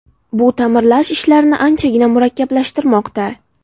Bu ta’mirlash ishlarini anchagina murakkablashtirmoqda.